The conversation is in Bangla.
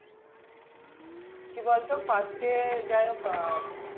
কি বলতো first এ যাই হোক আহ উম